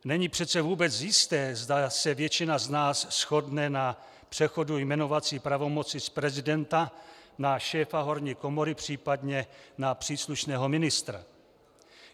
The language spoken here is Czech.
Není přece vůbec jisté, zda se většina z nás shodne na přechodu jmenovací pravomoci z prezidenta na šéfa horní komory, případně na příslušného ministra.